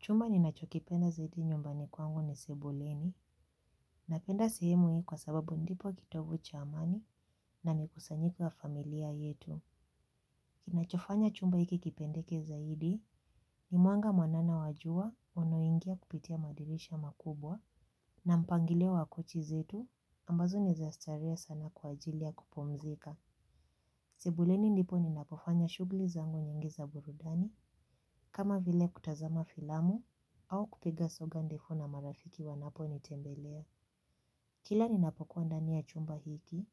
Chumba ninachokipenda zaidi nyumbani kwangu ni sebuleni. Napenda sehemu hii kwa sababu ndipo kitovu cha amani na mikusanyiko wa familia yetu. Kinachofanya chumba hiki kipendeke zaidi ni mwanga mwanana wajua unaoingia kupitia madirisha makubwa na mpangilio wa kochi zetu ambazo ni za starehe sana kwa ajili ya kupumzika. Sibuleni ndipo ninapofanya shughuli zangu nyingi za burudani. Kama vile kutazama filamu au kupiga soga ndipo na marafiki wanaponitembelea. Kila ninapokuwa ndani ya chumba hiki